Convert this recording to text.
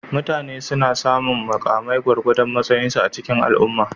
Mutane suna samun mukamai gwargwadon matsayinsu a cikin al'umma.